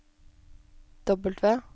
W